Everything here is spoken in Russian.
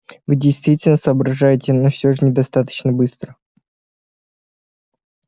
вы действительно соображаете но все же недостаточно быстро